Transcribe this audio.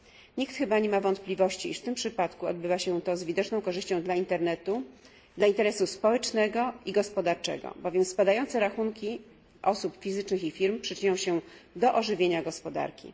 Nikt chyba nie ma wątpliwości, iż w tym przypadku odbywa się to z widoczną korzyścią dla interesu społecznego i gospodarczego, bowiem spadające rachunki osób fizycznych i firm przyczynią się do ożywienia gospodarki.